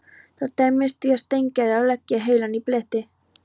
Það dæmdist því á Steingerði að leggja heilann í bleyti.